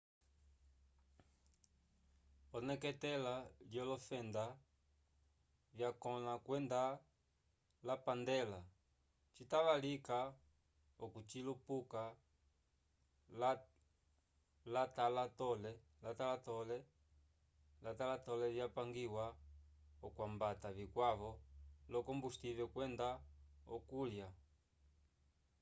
oneketela lyolofenda vyakõla kwenda lapandela citava lika okucilupuka l'atalatole vyapangiwa okwambata vikwavo l'okombusivel kwenda okulya